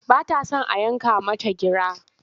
Ba ta son a yanka mata gira.